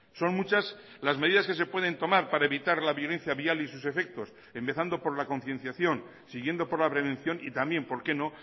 son muchas las medidas que se pueden tomar para evitar la violencia vial y sus efectos empezando por la concienciación siguiendo por la prevención y también por qué no